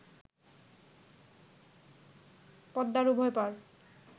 পদ্মার উভয়পাড়